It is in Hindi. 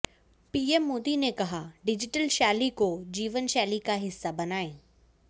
पीएम मोदी ने कहा डिजिटल शैली को जीवनशैली का हिस्सा बनाए